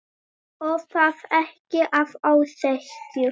Og það ekki að ósekju.